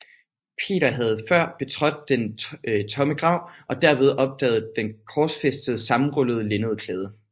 Peter havde før betrådt den tomme grav og derved opdaget den korsfæstedes sammenrullede linnedklæde